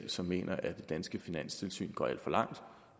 som mener at det danske finanstilsyn går alt for langt